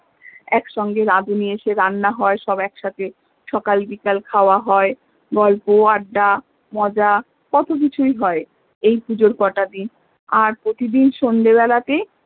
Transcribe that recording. এক সঙ্গে রাধুনি এসে রান্না হয় সব এক সাথে সকাল বিকেল খাওয়া হয় গল্প আড্ডা মজা কত কিছুই হয় এই পুজোর কটা দিন আর প্রতিদিন সন্ধ্যা বেলাতে